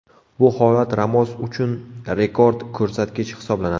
Bu holat Ramos uchun rekord ko‘rsatkich hisoblanadi.